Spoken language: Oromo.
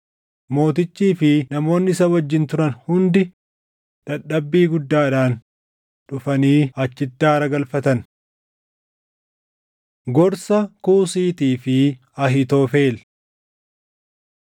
Mootichii fi namoonni isa wajjin turan hundi dadhabbii guddaadhaan dhufanii achitti aara galfatan. Gorsa Kusiitii fi Ahiitofel